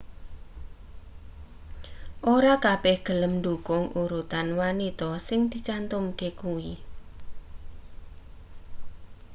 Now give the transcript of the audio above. ora kabeh gelem ndhukung urutan wanita sing dicantumke kuwi